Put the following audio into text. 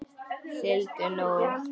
Sigldu nú.